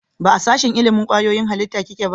Ba a sashen ilimin kwayoyin halitta kike ba?